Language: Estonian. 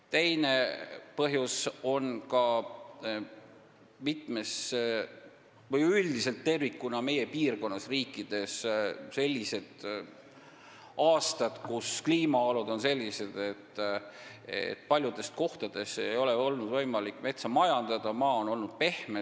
Teine põhjus meie piirkonna riikides tervikuna on sellised aastad, kus kliimaolud on olnud sellised, et paljudes kohtades ei ole olnud võimalik metsa majandada – maa on olnud pehme.